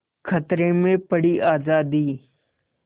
खतरे में पड़ी आज़ादी